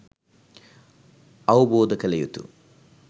අවබෝධ කළ යුතු